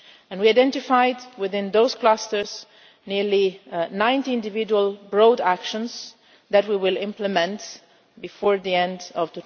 We identified within those clusters nearly 90 individual broad actions that we will implement before the end of